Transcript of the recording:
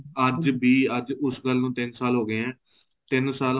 ਅੱਜ ਵੀ ਅੱਜ ਉਸ ਗੱਲ ਨੂੰ ਤਿੰਨ ਸਾਲ ਹੋ ਗਏ ਏ ਤਿੰਨ ਸਾਲ